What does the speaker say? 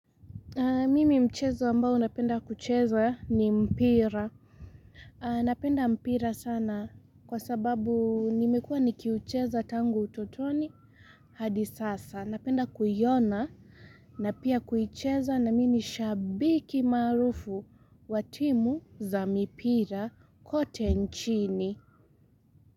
Mimi mchezo ambao napenda kucheza ni mpira na penda mpira sana kwa sababu nimekuwa nikiucheza tangu utotoni hadi sasa napenda kuiona na pia kuicheza na mi ni shabiki maarufu watimu za mipira kote nchini.